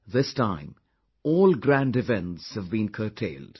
this time all grand events have been curtailed